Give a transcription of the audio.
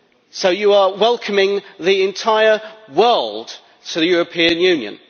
So you are welcoming the entire world to the European Union.